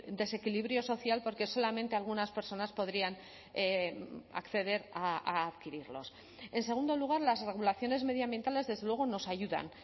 desequilibrio social porque solamente algunas personas podrían acceder a adquirirlos en segundo lugar las regulaciones medioambientales desde luego nos ayudan